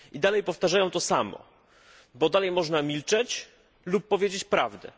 I dalej powtarzają to samo, bo dalej można milczeć lub powiedzieć prawdę.